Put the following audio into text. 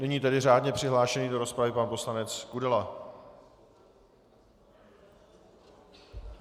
Nyní tedy řádně přihlášený do rozpravy pan poslanec Kudela.